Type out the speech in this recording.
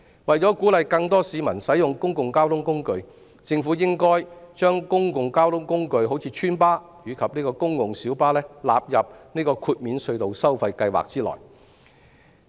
為鼓勵更多市民使用公共交通工具，政府應把公共交通工具如邨巴及公共小巴納入豁免隧道收費計劃內。